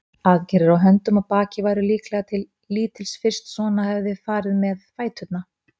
Aðgerðir á höndum og baki væru líklega til lítils fyrst svona hefði farið með fæturna.